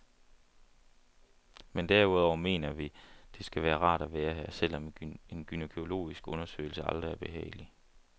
Men derudover mener vi, det skal være rart at være her, selvom en gynækologisk undersøgelse aldrig er behagelig.